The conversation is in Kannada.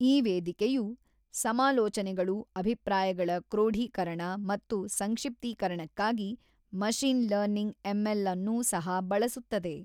ಈ ವೇದಿಕೆಯು ಸಮಾಲೋಚನೆಗಳು ಅಭಿಪ್ರಾಯಗಳ ಕ್ರೋಢೀಕರಣ ಮತ್ತು ಸಂಕ್ಷಿಪ್ತೀಕರಣಕ್ಕಾಗಿ ಮಷಿನ್ ಲರ್ನಿಂಗ್ ಎಂಎಲ್ ಅನ್ನು ಸಹ ಬಳಸುತ್ತದೆ.